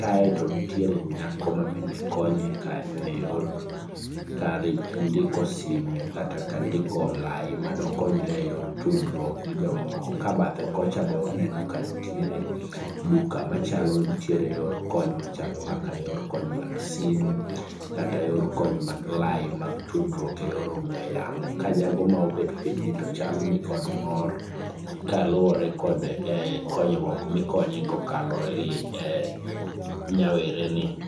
kae to nitie nyako ma bende konye kanyo e yor ndiko simo kata ka ndiko lai mado konre go e yor tudruok gi jomoko ka badhe kocha be waneno ka nitiere duka machalo nitiere kony machalo kaka kony mag simu kata yor kony mag lai mag tudruok e yor ongue yamo ka jago ma obet pinyni to chalo ni kod mor kaluwore kod konyruok mikonye go kokalore gi nyawere ni